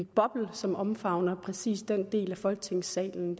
boble som omfavner præcis den del af folketingssalen